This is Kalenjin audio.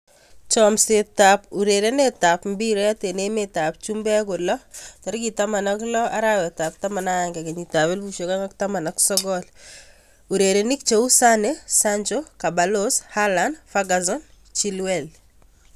Chomset ab urerenet ab mbiret eng emet ab chumbek kolo 16.11.2019: Sane, Sancho, Ceballos, Haaland, Ferguson, Chilwell